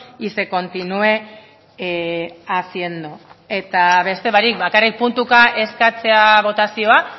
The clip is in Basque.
y se continúe haciendo eta beste barik bakarrik puntuka eskatzea botazioa